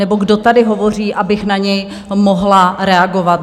nebo kdo tady hovoří, abych na něj mohla reagovat.